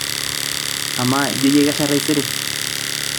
ama ijio yie kesha taisere